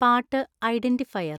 പാട്ട് ഐഡൻ്റിഫയർ